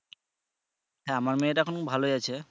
হ্যাঁ মেয়েটা এখন ভালোই আছে।